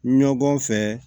Ɲɔgɔn fɛ